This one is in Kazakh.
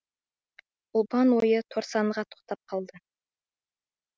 ұлпан ойы торсанға тоқтап қалды